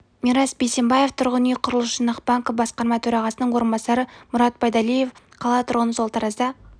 мирас бейсембаев тұрғын үй құрылыс жинақ банкі басқарма төрағасының орынбасары мұрат байдалиев қала тұрғыны сол таразда